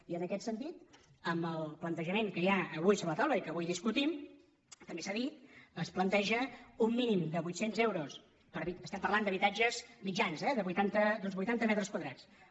i en aquest sentit amb el plantejament que hi ha avui sobre la taula i que avui discutim també s’ha dit es planteja un mínim de vuitcents euros estem parlant d’habitatges mitjans eh d’uns vuitanta metres quadrats